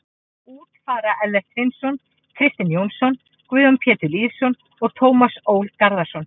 Út fara Ellert Hreinsson, Kristinn Jónsson, Guðjón Pétur Lýðsson og Tómas Ól Garðarsson.